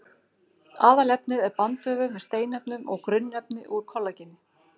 Aðalefnið er bandvefur með steinefnum og grunnefni úr kollageni.